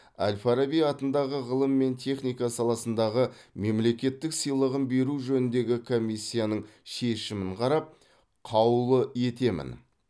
әл фараби атындағы ғылым мен техника саласындағы мемлекеттік сыйлығын беру жөніндегі комиссияның шешімін қарап қаулы етемін